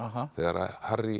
þegar Harry